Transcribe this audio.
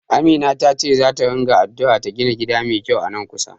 Amina tace zata ringa addu'a ta gina gida mai kyau a nan kusa.